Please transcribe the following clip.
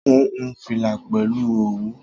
Mo hun fìlà pẹ̀lú òwú